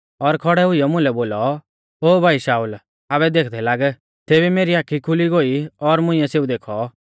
और खौड़ै हुइयौ मुलै बोलौ ओ भाई शाऊल आबै देखदै लाग तेबी मेरी आखी खुली गोई और मुंइऐ सेऊ देखौ